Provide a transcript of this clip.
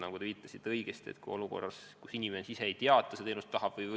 Nagu te õigesti viitasite, kohe algul inimene ise ei tea, kas ta seda teenust tahab või mitte.